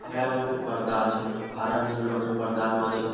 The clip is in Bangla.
হারা রঙের পর্দা আছে। হারা নীল রঙের পর্দানু আছে।